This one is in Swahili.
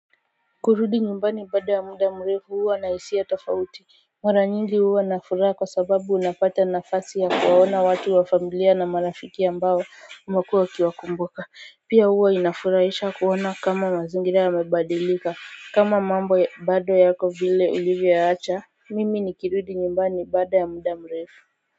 Kurudi nyumbani baada ya muda mrefu huwa na hisia tofauti mara nyingi huwa na furaha kwa sababu unapata nafasi ya kuwaona watu wa familia na marafiki ambao umekua ukiwa kumbuka pia huwa inafuraisha kuona kama mazingira yamebadilika kama mambo bado yako vile ulivyoyaacha Mimi nikirudi nyumbani baada ya muda mrefu.